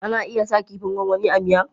Ana iya sa kifin gwangwani a miya.